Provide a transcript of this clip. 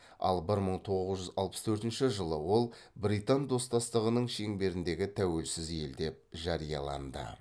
ал бір мың тоғыз жүз алпыс төртінші жылы ол британ достастығының шеңберіндегі тәуелсіз ел деп жарияланды